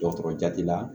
Dɔgɔtɔrɔ jati la